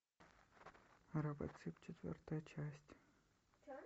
робоцып четвертая часть